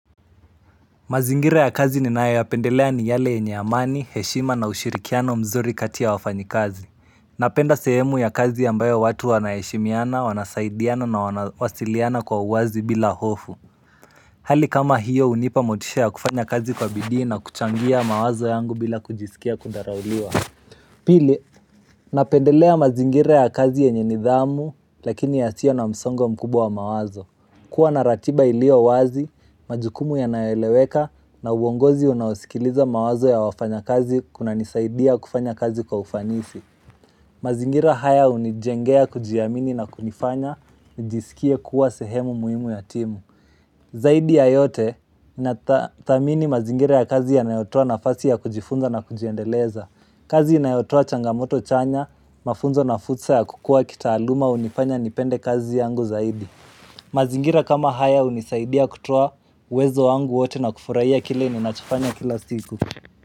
Mazingira ya kazi ninae ya pendelea ni yale yenye amani, heshima na ushirikiano mzuri kati ya wafanyi kazi. Napenda sehemu ya kazi ambayo watu wana heshimiana, wanasaidiana na wasiliana kwa uwazi bila hofu. Hali kama hiyo unipa motisha ya kufanya kazi kwa bidii na kuchangia mawazo yangu bila kujisikia kudharauliwa. Pili, napendelea mazingira ya kazi yenye nidhamu lakini ya sio na msongo mkubwa wa mawazo. Kuwa na ratiba ilio wazi, majukumu yanayo eleweka na uongozi unawasikiliza mawazo ya wafanya kazi kuna ni saidia kufanya kazi kwa ufanisi. Mazingira haya unijengea kujiamini na kunifanya, nijisikie kuwa sehemu muhimu ya timu. Zaidi ya yote, na thamini mazingira ya kazi yanayotoa nafasi ya kujifunza na kujiendeleza. Kazi inayo toa changamoto chanya, mafunzo na fursa ya kukua kitaaluma unifanya nipende kazi yangu zaidi. Mazingira kama haya unisaidia kutua uwezo wangu wote na kufurahia kile ninacho fanya kila siku.